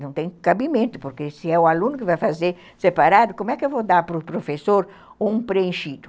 Não tem cabimento, porque se é o aluno que vai fazer separado, como é que eu vou dar para o professor um preenchido?